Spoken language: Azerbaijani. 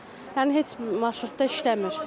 Yəni heç marşrutda işləmir.